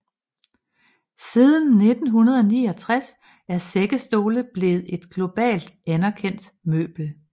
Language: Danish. Siden 1969 er sækkestole blevet et globalt anerkendt møbel